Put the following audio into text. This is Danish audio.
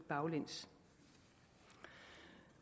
baglæns